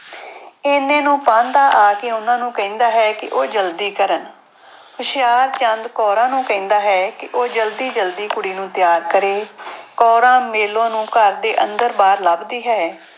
ਇੰਨੇ ਨੂੰ ਪਾਂਧਾ ਆ ਕੇ ਉਹਨਾਂ ਨੂੂੰ ਕਹਿੰਦਾ ਹੈ ਕਿ ਉਹ ਜ਼ਲਦੀ ਕਰਨ ਹੁਸ਼ਿਆਰਚੰਦ ਕੌਰਾਂ ਨੂੰ ਕਹਿੰਦਾ ਹੈ ਕਿ ਉਹ ਜ਼ਲਦੀ ਜ਼ਲਦੀ ਕੁੜੀ ਨੂੰ ਤਿਆਰ ਕਰੇ ਕੌਰਾਂ ਮੇਲੋ ਨੂੰ ਘਰ ਦੇ ਅੰਦਰ ਬਾਹਰ ਲੱਭਦੀ ਹੈ।